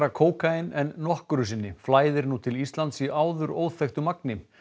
kókaín en nokkru sinni flæðir nú til Íslands í áður óþekktu magni